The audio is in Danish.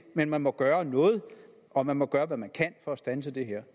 men man må gøre noget og man må gøre hvad man kan for at standse det her